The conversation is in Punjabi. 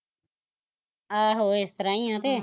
ਆਹੋ ਏਸ ਤਰਾਂ ਈ ਐ ਤੇ